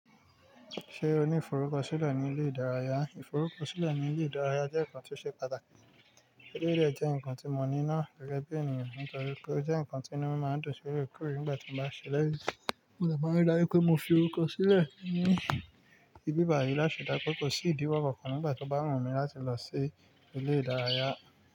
Ṣé o ní ìfọrúkọ sílẹ̀ ní ilé ìdárayá? Ìfọrúkọ sílẹ̀ ní ilé ìdárayá jẹ́ nǹkan tí ó ṣe pàtàkì. Eléyìí dẹ̀ jẹ́ ǹkan tí mo ní náà gẹ́gẹ́ bí ènìyàn nítorí pé ó jẹ́ ǹkan tí inú máa ń dùn sí l'óòrèkóòrè nígbà tí mo bá ṣe eléyìí. Mo dẹ̀ máa ń dájú wípé mo fi orúkọ sílẹ̀ ní ibi ìbáyì láti rí dájú pé kò sí ìdíwọ́ kankan nígbà tí ó bá wù mí láti lọ sí ilé ìdárayá.